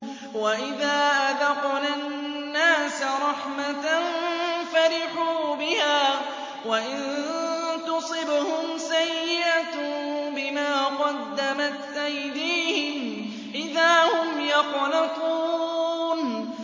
وَإِذَا أَذَقْنَا النَّاسَ رَحْمَةً فَرِحُوا بِهَا ۖ وَإِن تُصِبْهُمْ سَيِّئَةٌ بِمَا قَدَّمَتْ أَيْدِيهِمْ إِذَا هُمْ يَقْنَطُونَ